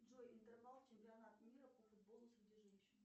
джой интервал чемпионат мира по футболу среди женщин